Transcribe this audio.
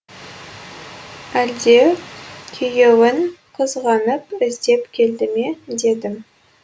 әлде күйеуін қызғанып іздеп келді ме дедім